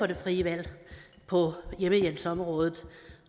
det frie valg på hjemmehjælpsområdet